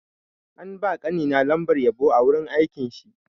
An ba ƙani na lambar yabo a wurin aikin shi.